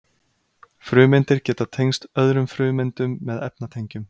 frumeindir geta tengst öðrum frumeindum með efnatengjum